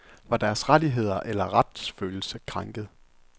Var deres rettigheder eller retsfølelse krænket?